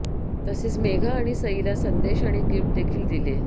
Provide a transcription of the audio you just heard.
तसेच मेघा आणि सईला संदेश आणि गिफ्ट देखील दिले